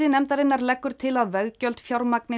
nefndarinnar leggur til að veggjöld fjármagni